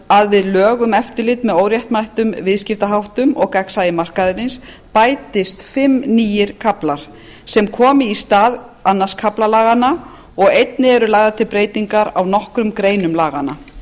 að við lög um eftirlit með óréttmætum viðskiptaháttum og gagnsæi markaðarins bætist fimm nýir kaflar sem komi í stað öðrum kafla laganna og einnig eru lagðar til breytingar á nokkrum greinum laganna